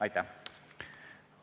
Aitäh!